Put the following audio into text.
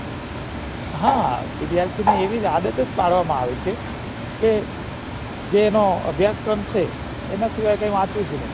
હા વિદ્યાથીઓ ને આવી આડત જ પાડવામાં આવે છે એ જે એનો અભ્યાસ ક્રમ છે